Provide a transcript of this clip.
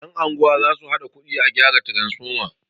yan' unguwa za su haɗa kudi a gyara taransifoma